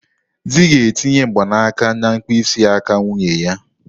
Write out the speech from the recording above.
Di ga-etinye mgbanaka na mkpịsị aka nwunye ya.